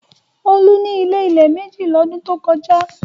Olú ní ilé-ilẹ̀ méjì lọ́dún tó kọjá.